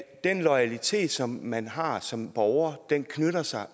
at den loyalitet som man har som borger knytter sig